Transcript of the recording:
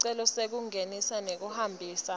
sicelo sekungenisa nekuhambisa